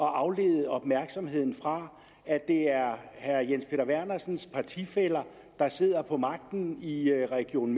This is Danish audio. at aflede opmærksomheden fra at det er herre jens peter vernersens partifæller der sidder på magten i region